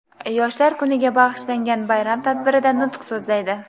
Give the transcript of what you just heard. Yoshlar kuniga bag‘ishlangan bayram tadbirida nutq so‘zlaydi.